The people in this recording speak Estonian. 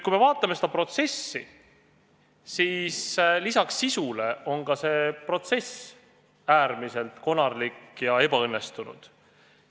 Kui me vaatame seda protsessi, siis lisaks sisule on ka see äärmiselt konarlik ja ebaõnnestunud.